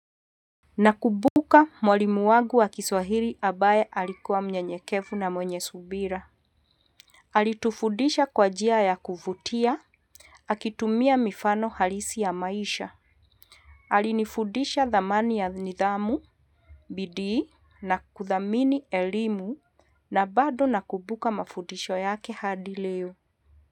Na kumbuka mwalimu wangu wa kiswahili ambaye alikuwa mnyenyekevu na mwenye subira. Alitufundisha kwa njia ya kuvutia. Akitumia mifano halisi ya maisha. Alinifudisha dhamani ya nidhamu, bidii na kuthamini elimu na bado na kubuka mafundisho yake hadi leo.